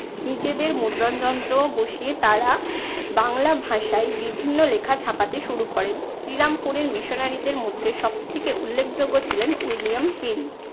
নিজেদের মুদ্রণ যন্ত্র বসিয়ে তারা বাংলা ভাষায় বিভিন্ন লেখা ছাপাতে শুরু করেন। শ্রীরামপুরের missionary দের মধ্যে সব থেকে উল্লেখযোগ্য ছিলেন উইলিয়াম কেলি।